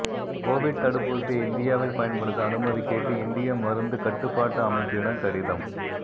Covid தடுப்பூசியை இந்தியாவில் பயன்படுத்த அனுமதி கேட்டு இந்திய மருந்து கட்டுப்பாட்டு அமைப்பிடம் கடிதம்